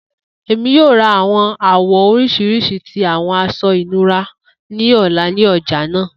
Emi yoo ra awọn awọ oriṣiriṣi ti awọn aṣọ inura ni ọla ni ọja naa.